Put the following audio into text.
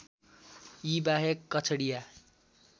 यी बाहेक कछडिया